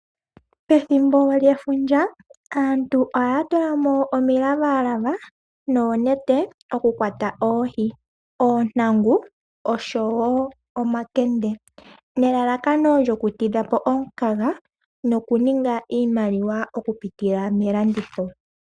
Pethimbo lyefundja aantu ohaya tulamo omilavalava Noonete okukwata oohi, oontangu oshowo omakende. nelalakano lyoku tidhapo omukaga noku ninga iimaliwa moku pitila melanditho.